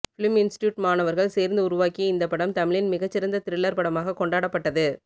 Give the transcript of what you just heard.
film institute மாணவர்கள் சேர்ந்து உருவாக்கிய இந்த படம் தமிழின் மிகச்சிறந்த த்ரில்லர் படமாக கொண்டாடப்பட்டது